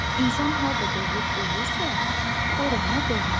İnsan harda doğulub böyüyürsə, ora ona doğmadır.